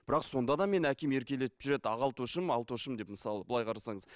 бірақ сонда да менің әкем еркелетіп жүреді алтошым алтошым деп мысалы былай қарасаңыз